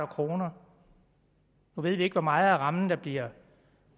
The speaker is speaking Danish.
kroner nu ved vi ikke hvor meget af rammen der bliver